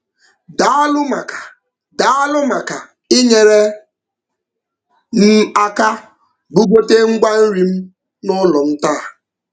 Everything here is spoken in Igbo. Daalụ maka Daalụ maka inyere m aka bugote ngwa nri m n'ụlọ m taa.